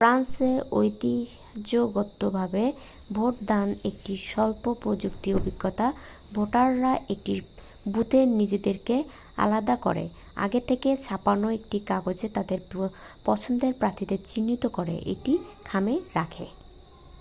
ফ্রান্সে ঐতিহ্যগতভাবে ভোটদান একটি স্বল্প প্রযুক্তির অভিজ্ঞতা ভোটাররা একটি বুথে নিজেদেরকে আলাদা করে আগে থেকে ছাপানো একটি কাগজে তাদের পছন্দের প্রার্থীকে চিহ্নিত করে একটি খামে রাখে